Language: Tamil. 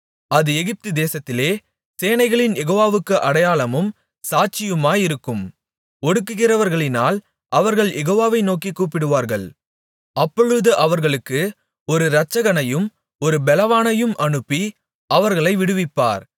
அது எகிப்துதேசத்திலே சேனைகளின் யெகோவாவுக்கு அடையாளமும் சாட்சியுமாயிருக்கும் ஒடுக்குகிறவர்களினால் அவர்கள் யெகோவாவை நோக்கிக் கூப்பிடுவார்கள் அப்பொழுது அவர்களுக்கு ஒரு இரட்சகனையும் ஒரு பெலவானையும் அனுப்பி அவர்களை விடுவிப்பார்